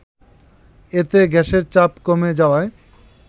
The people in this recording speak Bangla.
এতে গ্যাসের চাপ কমে যাওয়ায়